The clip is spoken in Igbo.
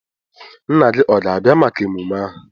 Nna gị ọ ga-abịa maka emume ahụ?